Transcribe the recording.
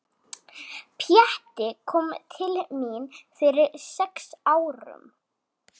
Pjatti kom til mín fyrir sex árum.